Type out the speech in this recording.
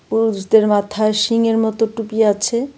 পুরুষদের মাথায় শিং এর মতো টুপি আছে.